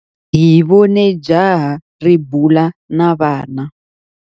Hi vone jaha ri bula na vana.